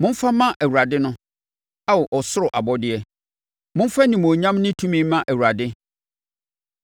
Momfa mma Awurade no, Ao ɔsoro abɔdeɛ, momfa animuonyam ne tumi mma Awurade.